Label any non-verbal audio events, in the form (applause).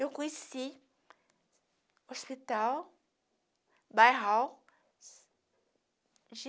Eu conheci hospital (unintelligible)